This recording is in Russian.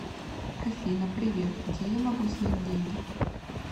афина привет где я могу снять деньги